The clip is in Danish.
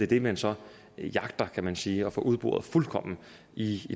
det man så jagter kan man sige at få udboret fuldkommen i